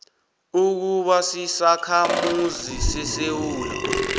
ukuba sisakhamuzi sesewula